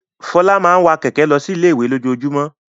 Folú máa ń wa kẹ̀kẹ́ lọ sí ilé-ìwé lójoojúmọ́.